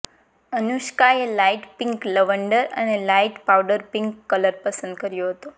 અનુષ્કાએ light pink lavender અને light powder pink colour પસંદ કર્યો હતો